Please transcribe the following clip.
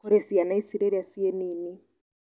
kũrĩ ciana ici rĩrĩa cii nini.